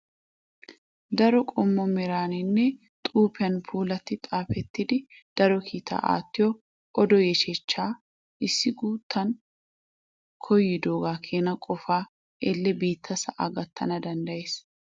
Daro qommo meraaninne xuupiyan puulaatti xaapettidi daro kiita aattiyaa odo yeechchaa. Issi guttan koyidooga keena qofaa elle biitta sa'aa gattana danddayes.